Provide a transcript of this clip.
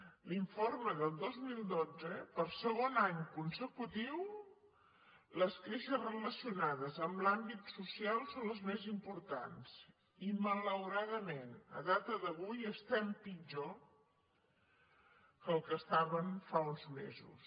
en l’informe del dos mil dotze per segon any consecutiu les queixes relacionades amb l’àmbit social són les més importants i malauradament a data d’avui estem pitjor del que ho estàvem fa uns mesos